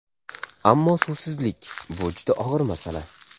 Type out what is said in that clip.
Ammo suvsizlik, bu juda og‘ir masala.